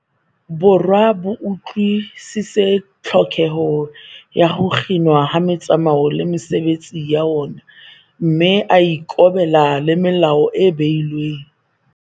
Borwa bo utlwi-sisitse tlhokeho ya ho kginwa ha metsamao le mesebetsi ya ona, mme a ikobela le melao e behilweng.